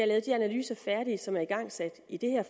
lavet de analyser færdige som er igangsat i det her